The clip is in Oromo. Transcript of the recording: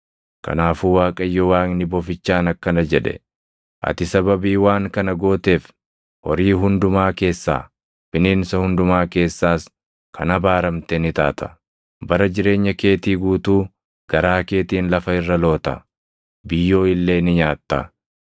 Kanaafuu Waaqayyo Waaqni bofichaan akkana jedhe; “Ati sababii waan kana gooteef, “Horii hundumaa keessaa, bineensa hundumaa keessaas kan abaaramte ni taata! Bara jireenya keetii guutuu garaa keetiin lafa irra loota; biyyoo illee ni nyaatta.